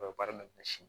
U bɛ baara minɛ si